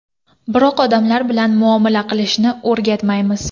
Biroq odamlar bilan muomala qilishni o‘rgatmaymiz.